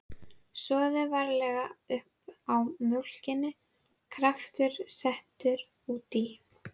Soðið varlega uppá mjólkinni, kraftur settur út í.